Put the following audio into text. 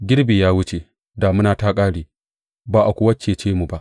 Girbi ya wuce, damuna ta ƙare, ba a kuwa cece mu ba.